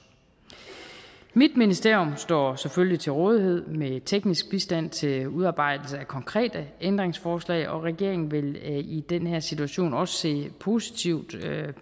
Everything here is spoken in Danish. mit ministerium står selvfølgelig til rådighed med teknisk bistand til udarbejdelse af konkrete ændringsforslag og regeringen vil i den her situation også se positivt